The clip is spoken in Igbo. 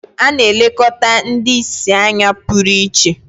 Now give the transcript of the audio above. A na-elekọta ndị ìsì anya pụrụ iche